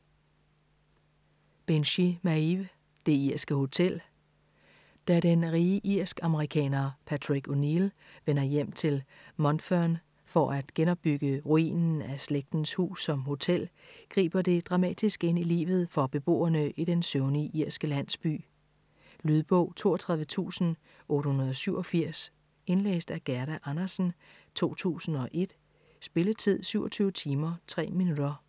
Binchy, Maeve: Det irske hotel Da den rige irsk-amerikaner Patrick O'Neill vender hjem til Mountfern for at genopbygge ruinen af slægtens hus som hotel, griber det dramatisk ind i livet for beboerne i den søvnige irske landsby. Lydbog 32887 Indlæst af Gerda Andersen, 2001. Spilletid: 27 timer, 3 minutter.